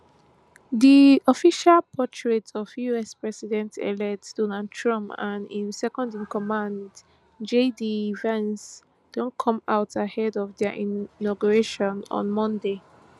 di official portraits of us presidentelect donald trump and im secondincommand jd vance don come out ahead of dia inauguration on monday